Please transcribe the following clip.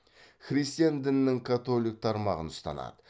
христиан дінінің католик тармағын ұстанады